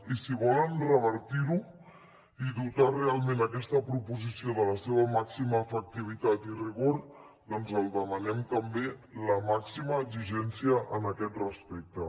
i si volen revertir ho i dotar realment aquesta proposició de la seva màxima efectivitat i rigor doncs els hi demanem també la màxima exigència en aquest aspecte